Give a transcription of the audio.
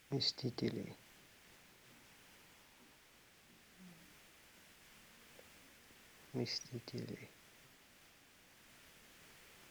мстители мстители